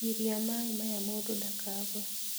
Giria maĩ maya mũndũ ndakagwe